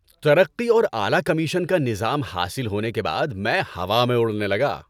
ترقی اور اعلی کمیشن کا نظام حاصل ہونے کے بعد میں ہوا میں اڑنے لگا۔